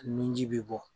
Nunji bɛ bɔ